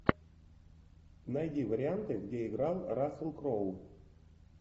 найди варианты где играл рассел кроу